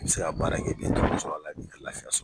N bɛ se k'a baara in kɛ bi ka tɔnɔ sɔrɔ ka laafiya sɔrɔ.